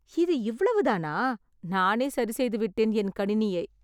இது இவ்வளவு தானா! நானே சரிசெய்து விட்டேன், என் கணினியை.